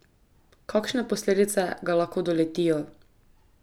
Kakšne posledice ga lahko doletijo?